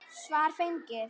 Svar fengið.